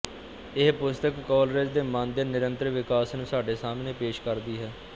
ਇਹ ਪੁਸਤਕ ਕੌਲਰਿਜ ਦੇ ਮਨ ਦੇ ਨਿਰੰਤਰ ਵਿਕਾਸ ਨੂੰ ਸਾਡੇ ਸਾਹਮਣੇ ਪੇਸ਼ ਕਰਦੀ ਹੈ